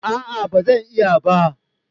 Aa bazan iya ba